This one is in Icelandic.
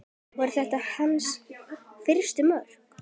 Voru þetta hans fyrstu mörk?